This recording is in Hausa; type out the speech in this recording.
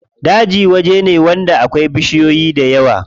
Daji waje ne wanda akwai bishiyoyi dayawa.